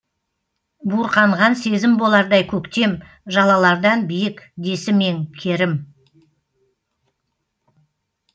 буырқанған сезім болардай көктем жалалардан биік десім ең керім